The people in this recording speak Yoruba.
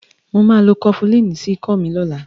màá lo Kọfilínì sí ikọ́ mi lọ́la